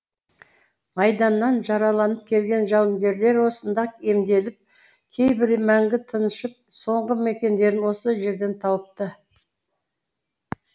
майданнан жараланып келген жауынгерлер осында емделіп кейбірі мәңгі тыншып соңғы мекендерін осы жерден тауыпты